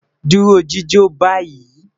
Duro jijo bayi